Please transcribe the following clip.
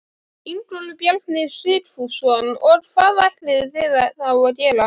Ingólfur Bjarni Sigfússon: Og hvað ætlið þið þá að gera?